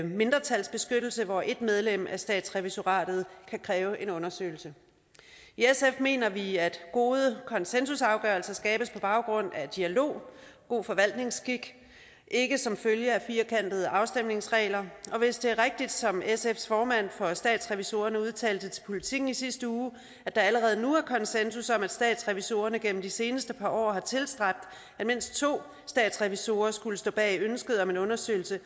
mindretalsbeskyttelse hvor ét medlem af statsrevisoratet kan kræve en undersøgelse i sf mener vi at gode konsensusafgørelser skabes på baggrund af dialog god forvaltningsskik ikke som følge af firkantede afstemningsregler og hvis det er rigtigt som sfs formand for statsrevisorerne udtalte til politiken i sidste uge at der allerede nu er konsensus om at statsrevisorerne gennem de seneste par år har tilstræbt at mindst to statsrevisorer skulle stå bag ønsket om en undersøgelse